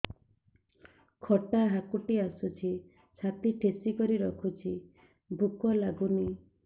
ଖଟା ହାକୁଟି ଆସୁଛି ଛାତି ଠେସିକରି ରଖୁଛି ଭୁକ ଲାଗୁନି